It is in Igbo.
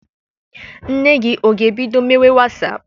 Nne gị ọ ga-ebido mewe Wasaapụ?